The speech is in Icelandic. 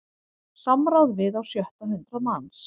Samráð við á sjötta hundrað manns